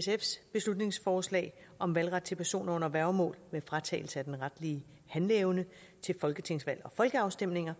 sfs beslutningsforslag om valgret til personer under værgemål med fratagelse af den retlige handleevne til folketingsvalg og folkeafstemninger